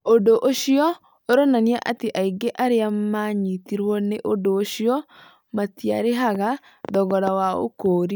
Ũndũ ũcio ũronania atĩ aingĩ arĩa maanyitirũo nĩ ũndũ ũcio matiarĩhaga thogora wa ũkũũri.